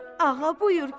Ağa, buyur gəl.